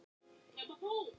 Líka á